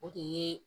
O de ye